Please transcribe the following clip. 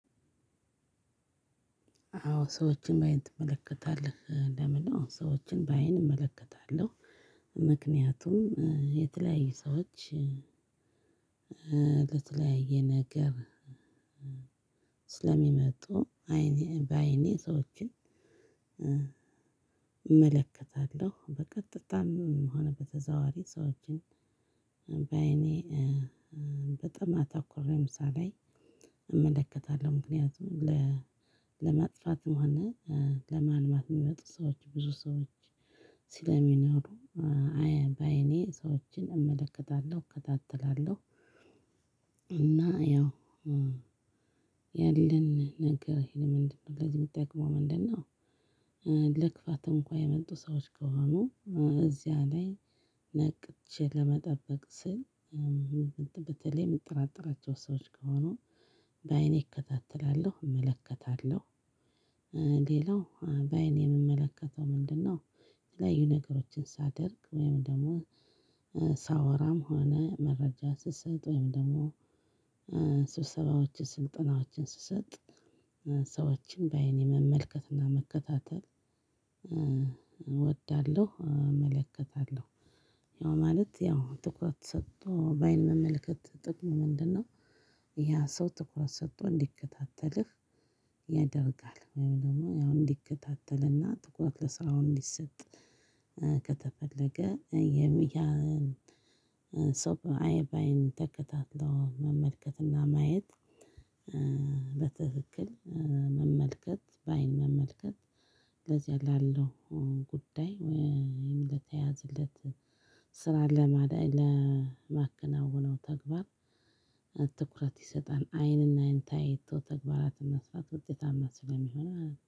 አዎ ሰዎችን በአይን ትመለከታለህ? ለምን? አዎ ሰዎችን በአይን እመለከታለሁ። ምክንያቱም የተለያዩ ሰዎች። ለተለያየ ነገር። ስለሚመጡ አይኔ በአይኔ ሰዎችን። እመለከታለው በቀጥታም ሆነ በተዘዋዋሪ ሰዎችን በአይኔ። በጣም አተኩሬ ለምሳሌ። እመለከታለው። ምክንያቱም ለማጥፋትም ሆነ ለማልማት የሚመጡ ሰዎች ብዙ ሰዎች ስለሚኖሩ። በአይኔ ሰዎችን እመለከታለው እከታተላለው። እና ያው ያለን ነገር ለዚ የሚጠቅመው ምንድን ነው? ለክፋት እንኳን የመጡ ሰዎች ከሆኑ እዚያ ላይ ነቅቼ ለመጠበቅ ስል። በተለይ የምንጠራጠራቸው ሰዎች ከሆኑ በአይኔ እከታተላለሁ እመለከታለሁ። ሌላው በአይን የምመለከተው ምንድነው? የተለያዩ ነገሮችን ሳደርግ ወይም ደግሞ ሳወራም ሆነ መረጃ ስትሰጥ ወይም ደግሞ ሰብሰባዎችን ስልጠናዎችን ስትሰጥ ሰዎችን በአይኔ መመልከት እና መከታተል እወዳለው እመለከታለው። ያው ማለት ያው ትኩረት ሰጥቶ በአይን መመልከት ጥቅሙ ምንድነው? ያ ሰው ትኩረት ሰጥቶ እንዲከታተልህ ያደርጋል። ወይም ደግሞ ያው እንዲከታተልና ትኩረት ለስራው እንዲሰጥ ከተፈለገ የሚያሰብ በአይን ተከታትሎ መመልከትና ማየት። በትክክል መመልከት በአይን መመልከት። ለዚያ ላለው ጉዳይ ወይም ለተያዘለት ስራ ለማከናውነው ተግባር። ትኩረት ይሰጣል አይንና አይን ተያይቶ ተግባራትን መስራት ውጤታማ ስለሚሆን